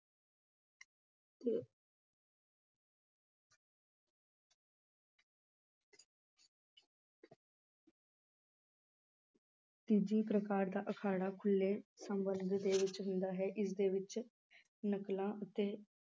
ਤੀਜੀ ਪ੍ਰਕਾਰ ਦਾ ਅਖਾੜਾ ਖੁੱਲੇ ਚ ਹੁੰਦਾ ਹੈ ਇਸਦੇ ਵਿੱਚ ਨਕਲਾਂ ਅਤੇ